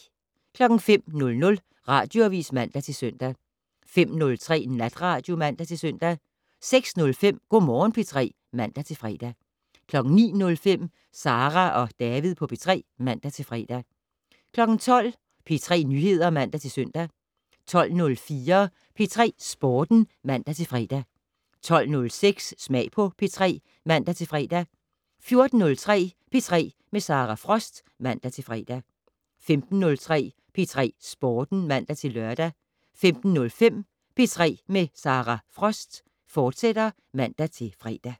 05:00: Radioavis (man-søn) 05:03: Natradio (man-søn) 06:05: Go' Morgen P3 (man-fre) 09:05: Sara og David på P3 (man-fre) 12:00: P3 Nyheder (man-søn) 12:04: P3 Sporten (man-fre) 12:06: Smag på P3 (man-fre) 14:03: P3 med Sara Frost (man-fre) 15:03: P3 Sporten (man-lør) 15:05: P3 med Sara Frost, fortsat (man-fre)